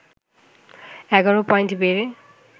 ১১ point বেড়ে